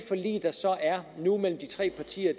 forlig der så er nu mellem de tre partier